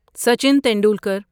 Sachin Tendulkar